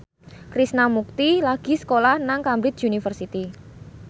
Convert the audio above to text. Krishna Mukti lagi sekolah nang Cambridge University